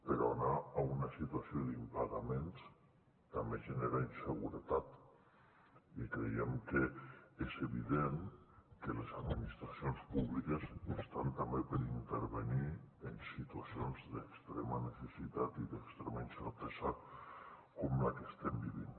però anar a una situació d’impagaments també genera inseguretat i creiem que és evident que les administracions públiques estan també per intervenir en situacions d’extrema necessitat i d’extrema incertesa com la que estem vivint